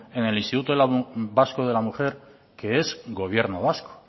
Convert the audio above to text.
en el instituto vasco de la mujer que es gobierno vasco